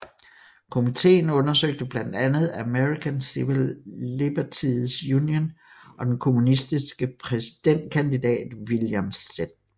Komitéen undersøgte blandt andet American Civil Liberties Union og den kommunistiske præsidentkandidat William Z